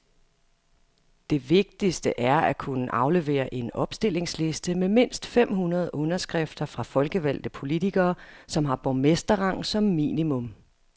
Det vigtigste er at kunne aflevere en opstillingsliste med mindst fem hundrede underskrifter fra folkevalgte politikere, som har borgmesterrang som minimum.